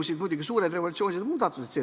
Siis aga toimusid revolutsioonilised muudatused.